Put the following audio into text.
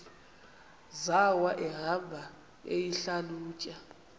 zawo ehamba eyihlalutya